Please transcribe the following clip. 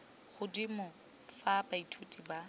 godimo jwa fa baithuti ba